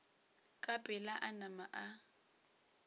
ka pela a nama a